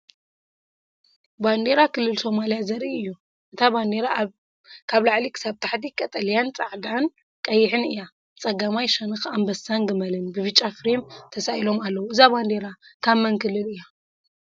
ባንዴራ ዞባ ሶማልያ ዘርኢ እዩ። እታ ባንዴራ ካብ ላዕሊ ክሳብ ታሕቲ ቀጠልያን ጻዕዳን ቀይሕን እያ። ብጸጋማይ ሸነኽ ኣንበሳን ገመልን ብብጫ ፍሬም ተሳኢሎም ኣለዉ። እዛ ባንዴራ ካብ መን ክልል እያ?